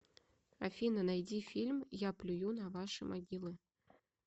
афина найди фильм я плюю на ваши могилы